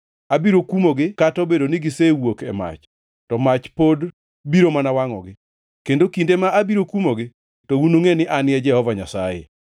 Abiro kumogi kata obedo ni gisewuok e mach, to mach pod biro mana wangʼogi. Kendo kinde ma abiro kumogi to unungʼe ni An e Jehova Nyasaye.